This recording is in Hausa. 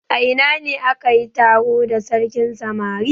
A ina ne aka yi taro da sarkin samari?